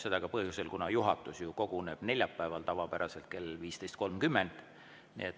Seda ka põhjusel, et juhatus koguneb tavapäraselt neljapäeval kell 15.30.